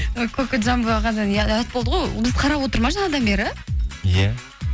ы кокожамбо ағадан ұят болды ғой ол бізді қарап отыр ма жаңадан бері иә